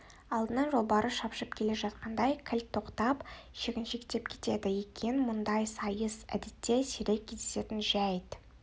алдынан жолбарыс шапшып келе жатқандай кілт тоқтап шегіншектеп кетеді екен мұндай сайыс әдетте сирек кездесетін жәйт